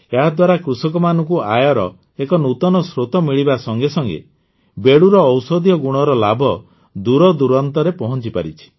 ଏହାଦ୍ୱାରା କୃଷକମାନଙ୍କୁ ଆୟର ଏକ ନୂତନ ସ୍ରୋତ ମିଳିବା ସାଥେ ସାଥେ ବେଡ଼ୁର ଔଷଧୀୟ ଗୁଣର ଲାଭ ଦୂରଦୂରାନ୍ତରେ ପହଂଚିପାରିଛି